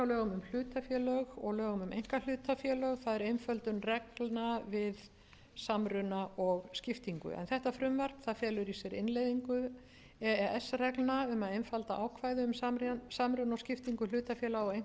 lögum um hlutafélög og lögum um einkahlutafélög það er einföldun reglna um samruna og skiptingu en þetta frumvarp felur í sér innleiðingu e e s reglna um að einfalda ákvæði um samruna og skiptingu hlutafélaga og einkahlutafélaga með því að fella